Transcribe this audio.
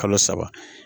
Kalo saba